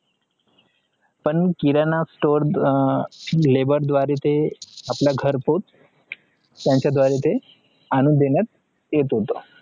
पण किराणा store हा labor द्वारे ते घर पोच त्याचा द्वारे ते आणून देत होत